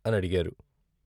" అనడిగారు.